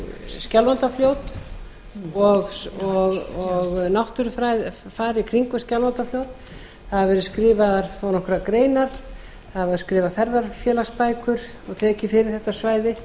skjálfandafljót og náttúrufar í kringum skjálfandafljót það hafa verið skrifaðar þó nokkrar greinar það hafa verið skrifaðar ferðafélagsbækur og tekið fyrir þetta svæði